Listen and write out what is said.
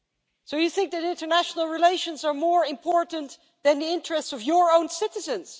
So you think that international relations are more important than the interests of your own citizens.